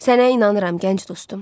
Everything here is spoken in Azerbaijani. Sənə inanıram, gənc dostum.